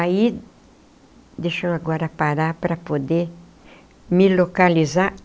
Aí... deixa eu agora parar para poder me localizar.